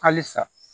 Halisa